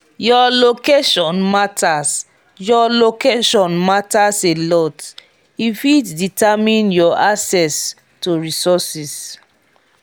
your location matters your location matters a lot e fit determine your access to resourses